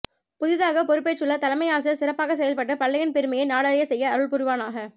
புதிதாக பொறுபேற்றுள்ள தலைமை ஆசிரியர் சிறப்பாக செயல்பட்டு பள்ளியின் பெருமையை நாடறிய செய்ய அருள் புரிவானாக